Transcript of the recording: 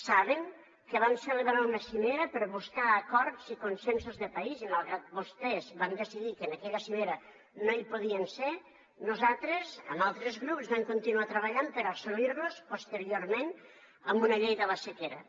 saben que vam celebrar una cimera per buscar acords i consensos de país i malgrat que vostès van decidir que en aquella cimera no hi podien ser nosaltres amb altres grups vam continuar treballant per assolir los posteriorment amb una llei de la sequera